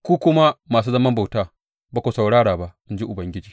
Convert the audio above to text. Ku kuma masu zaman bauta ba ku saurara ba, in ji Ubangiji.